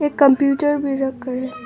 एक कंप्यूटर भी रखा है।